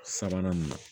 Sabanan nin na